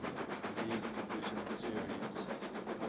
league division series